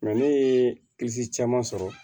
ne ye caman sɔrɔ